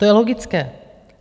To je logické.